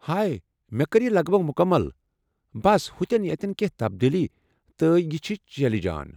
ہاے، مےٚ كٕر یہِ لگ بھگ مُكمل ، بس ہُتین یتین کیٚنٛہہ تبدیلی ، تہٕ یہ چھِ چلہِ جان ۔